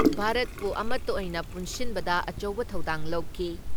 ꯚꯥꯔꯠꯄꯨ ꯑꯃꯠꯇ ꯑꯣꯏꯅ ꯄꯨꯟꯁꯤꯟꯕꯗ ꯑꯆꯧꯕ ꯊꯧꯗꯥꯡ ꯂꯧꯈꯤ ꯫